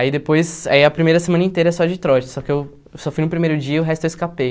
Aí depois, aí a primeira semana inteira é só de trote, só que eu só fui no primeiro dia e o resto eu escapei.